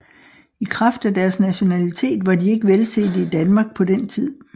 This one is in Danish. I kraft af deres nationalitet var de ikke velsete i Danmark på den tid